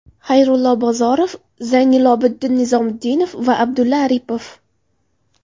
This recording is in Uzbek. Xayrullo Bozorov, Zaynilobiddin Nizomiddinov va Abdulla Aripov.